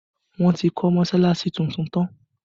Wọn ti kọ́ mọsalasi tuntun tán